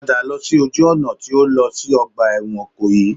Padà lọ sí ojú ọ̀nà tí ó lọ sí ọgbà ẹ̀wọ̀n Ìkòyí